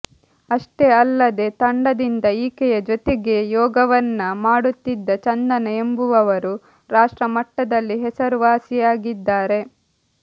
ಅಷ್ಟೆ ಅಲ್ಲದೇ ತಂಡದಿಂದ ಈಕೆಯ ಜೊತೆಗೇ ಯೋಗವನ್ನ ಮಾಡುತ್ತಿದ್ದ ಚಂದನ ಎಂಬುವವರು ರಾಷ್ಟ್ರ ಮಟ್ಟದಲ್ಲಿ ಹೆಸರುವಾಸಿಯಾಗಿದ್ದಾರೆ